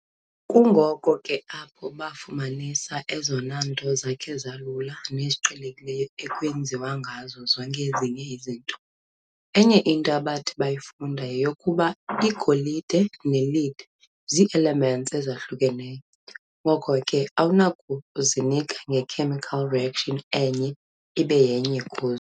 Kungoko kanye ke apho bafumanisa ezona nto zakhe zalula neziqhelekileyo ekwenziwa ngazo zonke ezinye izinto. Enye into abathi bayifunda yeyokokuba igolide ne-lead zii-elements ezahlukeneyo, ngoko ke awunakuzika nge-chemical reaction enye ibe yenye kuzo.